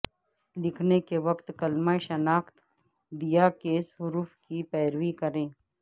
لکھنے کے وقت کلمہ شناخت دیا کیس حروف کی پیروی کریں